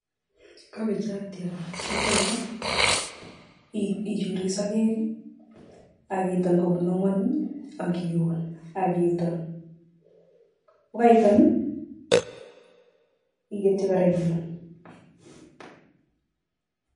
kabechotiot kitone, ichurii sokek akiton kobun angwanu akiun akiton. kokaiton iketchi kora iun